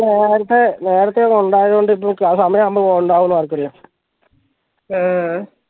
നേരത്തെ നേരത്തെ ഇവിടെ ഇണ്ടയൊണ്ട് ഇപ്പൊ സമയം ആവുമ്പൊ ഇണ്ടാവോന്ന് ആർക്കറിയാം ഏഹ്ഹ്